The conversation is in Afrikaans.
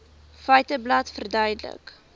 feiteblad verduidelik